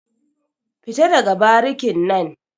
Fita daga barikin nan.